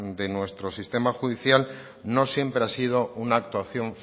de nuestro sistema judicial no siempre ha sido una actuación